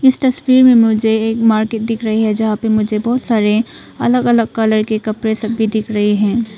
इस तस्वीर में मुझे एक मार्केट दिख रही है जहां पे मुझे बहुत सारे अलग अलग कलर के कपड़े सभी दिख रहे हैं।